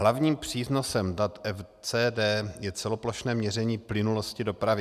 Hlavním přínosem dat FCD je celoplošné měření plynulosti dopravy.